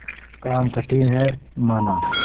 काम कठिन हैमाना